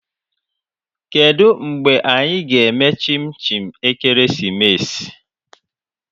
Kedu mgbe anyị ga-eme chinchi ekeresimesi?